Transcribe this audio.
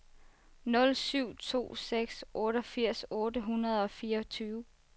nul syv to seks otteogfirs otte hundrede og fireogtyve